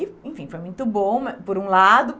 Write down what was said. E enfim, foi muito bom mas, por um lado.